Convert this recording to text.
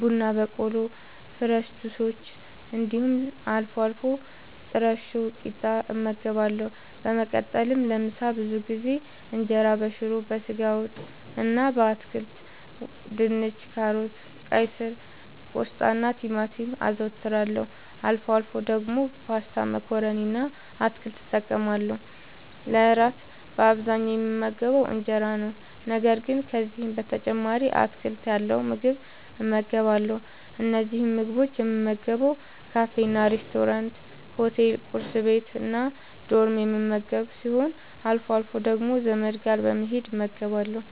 ቡና በቆሎ፣ ፍረሽ ጁሶች እንዲሁም አልፎ አልፎ ጥረሾ ቂጣ እመገባለሁ። በመቀጠልም ለምሳ ብዙ ጊዜ እንጀራበሽሮ፣ በስጋ ወጥ እና በአትክልት( ድንች፣ ካሮት፣ ቀይስር፣ ቆስጣናቲማቲም) አዘወትራለሁ። አልፎ አልፎ ደግሞ ፓስታ መኮረኒ እና አትክልት እጠቀማለሁ። ለእራት በአብዛኛዉ የምመገበዉ እንጀራ ነዉ። ነገር ግን ከዚህም በተጨማሪ አትክልት ያለዉ ምግብ እመገባለሁ። እነዚህን ምግቦች የምመገበዉ ካፌናሬስቶራንት፣ ሆቴል፣ ቁርስ ቤት፣ እና ዶርም የምመገብ ሲሆን አልፎ አልፎ ደግሞ ዘመድ ጋር በመሄድ እመገባለሁ።